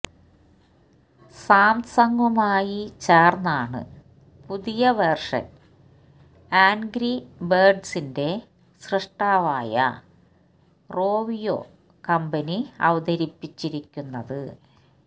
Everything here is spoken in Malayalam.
സാംസംഗുമായി ചേര്ന്നാണ് പുതിയ വേര്ഷന് ആന്ഗ്രി ബേര്ഡ്സിന്റെ സ്രഷ്ടാവായ റോവിയോ കമ്പനി അവതരിപ്പിച്ചിരിക്കുന്നത്